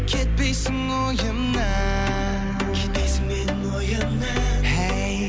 кетпейсің ойымнан кетпейсің менің ойымнан хей